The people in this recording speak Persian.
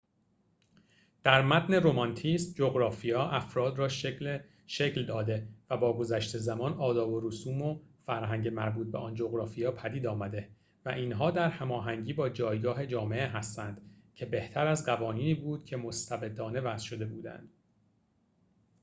در متن رمانتیسم جغرافیا افراد را شکل داده و با گذشت زمان آداب و رسوم و فرهنگ مربوط به آن جغرافیا پدید آمده و اینها در هماهنگی با جایگاه جامعه هستند که بهتر از قوانینی بود که مستبدانه وضع شده بودند